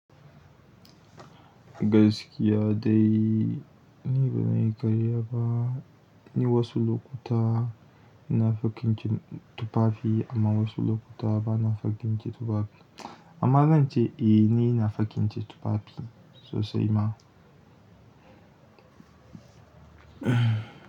Gaskiya dai ni ban yi karya ba, ni wasu lokuta ina fakince tufafi amma wasu lokuta bana fakince tufafi. Amma zan ce eh ni ina fakince tufafi sosai ma.